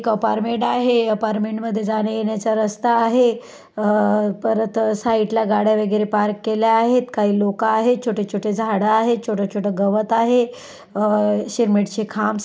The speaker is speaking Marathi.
एक अपार्टमेंट आहे अपार्टमेंट मध्ये जाण्यायेण्याचा रस्ता आहे अ-परत साइड ला गाड्या वगैरे पार्क केल्या आहेत काही लोक आहेत छोटे-छोटे झाडे आहेत छोटे-छोटे गवत आहे अ-सिमेंट चे खांब--